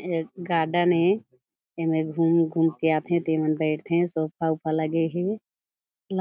ए जग गार्डन ए एमे घूम-घूम के आथे ते मन बईठे सोफा लगे हे